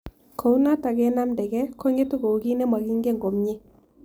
Kou notok ke namtakei ko ng'etu kou kiy ne making'en komie